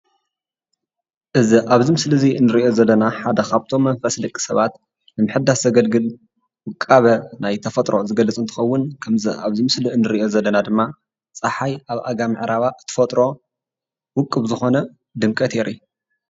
እዚ ምስሊ አዝዩ ሰሓብን መሳጥን ኮይኑ ፀሓይ ኣብ ምዕራባ ዝረአ እዩ።